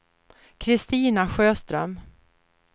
Kristina Sjöström